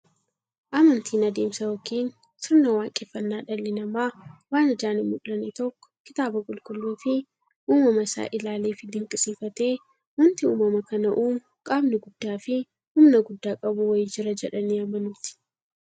Amantiin adeemsa yookiin sirna waaqeffannaa dhalli namaa waan ijaan hinmullanne tokko kitaaba qulqulluufi uumama isaa isaa ilaaleefi dinqisiifatee, wanti uumama kana uumu qaamni guddaafi humna guddaa qabu wa'ii jira jedhanii amanuuti.